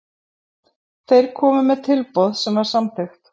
Þeir komu með tilboð sem var samþykkt.